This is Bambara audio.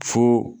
Fo